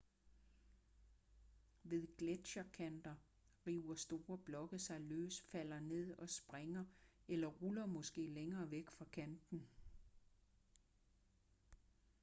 ved gletscherkanter river store blokke sig løs falder ned og springer eller ruller måske længere væk fra kanten